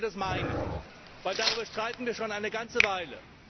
Sagen Sie, wie Sie das meinen, denn darüber streiten wir schon eine ganze Weile!